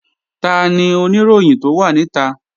Tani Oníròyìn tó wà níta?